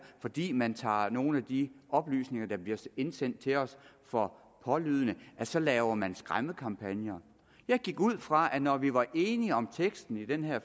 at fordi man tager nogle af de oplysninger der bliver indsendt til os for pålydende så laver man skræmmekampagner jeg gik ud fra at når vi var enige om teksten ved den her